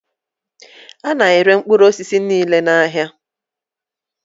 Ana ere mkpụrụ osisi niile n' áhiá.